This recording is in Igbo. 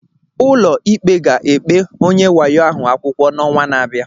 Ụlọ ikpe ga-ekpe onye wayo ahụ akwụkwọ n'ọnwa na-abịa.